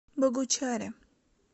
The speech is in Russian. богучаре